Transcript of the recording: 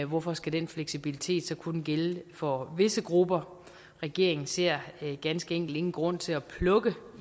hvorfor skal den fleksibilitet så kun gælde for visse grupper regeringen ser ganske enkelt ingen grund til at plukke